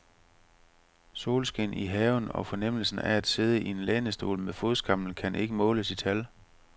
Solskin i haven og fornemmelsen af at sidde i en lænestol med fodskammel kan ikke måles i tal.